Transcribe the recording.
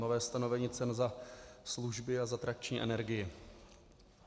Nové stanovení cen za služby a za trakční energii.